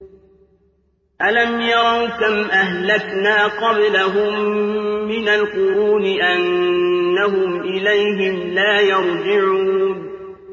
أَلَمْ يَرَوْا كَمْ أَهْلَكْنَا قَبْلَهُم مِّنَ الْقُرُونِ أَنَّهُمْ إِلَيْهِمْ لَا يَرْجِعُونَ